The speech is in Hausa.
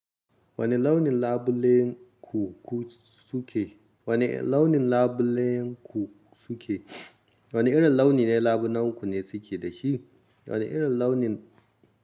Wani launin labulen ku-ku suke? Wani launin labulen ku suke? Wanne irin launi ne labunan ku ne suke da shi? Wane irin launin.